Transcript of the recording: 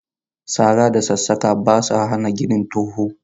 Sara da sassaƙa ba sa hana ganin to hu.